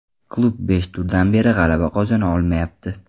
Klub beshta turdan beri g‘alaba qozona olmayapti.